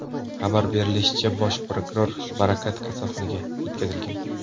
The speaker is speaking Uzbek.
Xabar berishlaricha, bosh prokuror Barakat kasalxonaga yetkazilgan.